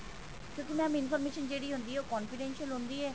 ਕਿਉਂਕਿ mam information ਜਿਹੜੀ ਹੁੰਦੀ ਹੈ ਉਹ confidential ਹੁੰਦੀ ਹੈ